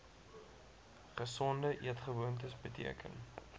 gesonde eetgewoontes beteken